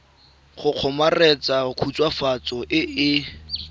go kgomaretsa khutswafatso e e